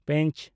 ᱯᱮᱸᱪ